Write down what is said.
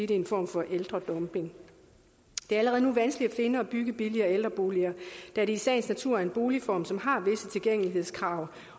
det er en form for ældredumping det er allerede nu vanskeligt at finde og bygge billigere ældreboliger da det i sagens natur er en boligform som har visse tilgængelighedskrav